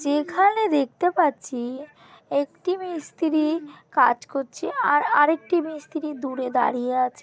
যেখানে দেখতে পাচ্ছি একটি মিস্ত্রি কাজ করছে। আর আরেকটি মিস্ত্রি দূরে দাঁড়িয়ে আছে ।